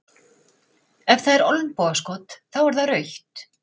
Ef það er olnbogaskot, þá er það rautt?